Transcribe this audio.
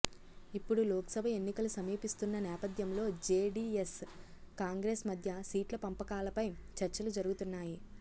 ఇప్పుడు లోక్సభ ఎన్నికలు సమీపిస్తున్న నేపథ్యంలో జేడీఎస్ కాంగ్రెస్ మధ్య సీట్ల పంపకాలపై చర్చలు జరుగుతున్నాయి